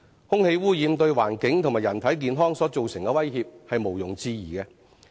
空氣污染對環境及人體健康所造成的威脅是毋庸置疑的。